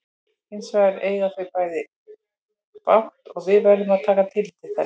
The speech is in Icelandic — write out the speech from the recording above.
Hins vegar eiga þau bæði bágt og við verðum að taka tillit til þess.